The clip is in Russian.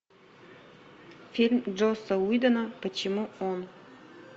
фильм джосса уидона почему он